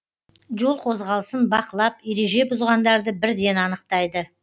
жол қозғалысын бақылап ереже бұзғандарды бірден анықтайды